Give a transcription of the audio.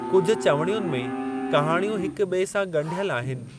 कुझु चविणियुनि में कहाणियूं हिक ॿिए सां ॻंढियल आहिनि।